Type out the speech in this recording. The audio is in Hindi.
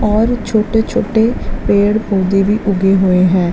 और छोटे - छोटे पेड़ पौधे भी उगे हुए है।